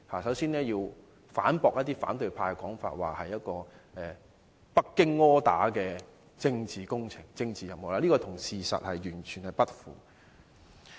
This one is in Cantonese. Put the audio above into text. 首先，我要反駁一些反對派的說法，指這是由北京 order 的政治工程和任務，這完全與事實不符。